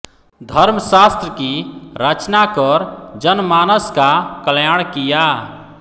धर्मशास्त्र की रचना कर जनमानस का कल्याण किया